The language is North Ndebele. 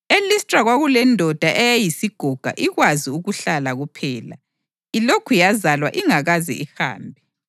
EListra kwakulendoda eyayiyisigoga ikwazi ukuhlala kuphela, ilokhu yazalwayo ingakaze ihambe.